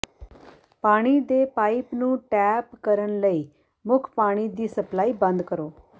ਪਾਣੀ ਦੇ ਪਾਈਪ ਨੂੰ ਟੈਪ ਕਰਨ ਲਈ ਮੁੱਖ ਪਾਣੀ ਦੀ ਸਪਲਾਈ ਬੰਦ ਕਰੋ